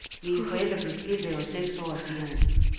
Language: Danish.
Mine forældre blev skilt da jeg var seks år, siger hun.